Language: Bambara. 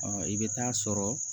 i bɛ taa sɔrɔ